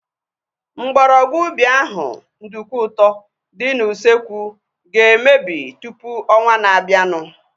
Mgbọrọgwụ ubi ahu (nduku ụtọ) dị n'usekwu ga-emebi tụpụ ọnwaa na-abianu